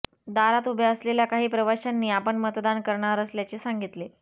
दारात उभ्या असलेल्या काही प्रवाशांनी आपण मतदान करणार असल्याचे सांगितले